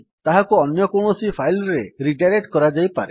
ତାହାକୁ ଅନ୍ୟ କୌଣସି ଫାଇଲ୍ ରେ ରିଡାଇରେକ୍ଟ୍ କରାଯାଇପାରେ